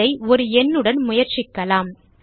இதை ஒரு எண்ணுடன் முயற்சிக்கலாம்